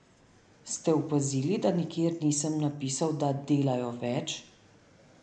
Ste opazili, da nikjer nisem napisal da delajo več?